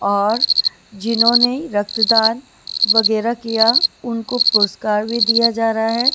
और जिन्होंने रक्तदान वगैरा किया उनको पुरस्कार भी दिया जा रहा है।